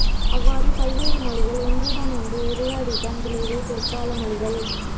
அவ்வாறு பல்வேறு மொழிகள் ஒன்றுடன் ஒன்று உரையாடியதன் விளைவே பிற்கால மொழிகள்